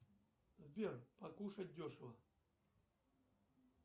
сбер покушать дешево